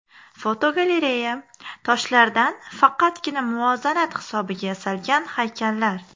Fotogalereya: Toshlardan faqatgina muvozanat hisobiga yasalgan haykallar.